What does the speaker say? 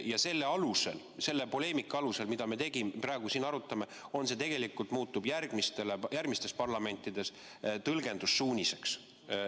Ja see poleemika, mida me praegu siin peame, muutub tegelikult järgmistes parlamentides tõlgendussuuniseks.